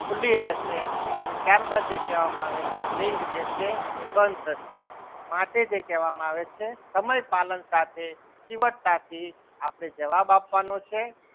ખુલ્લી રહેશે અને ત્યારબાદ જે કહેવામાં આવે છે લિંક જે છે બંધ થશે માટે જે કહેવામાં આવે છે સમય પાલન સાથે ચીવટતાથી આપડે જવાબ આપવાનો છે.